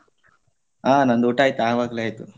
ಹಾ ನಂದ್ ಊಟ ಆಯ್ತು ಆವಾಗ್ಲೇ ಆಯ್ತು.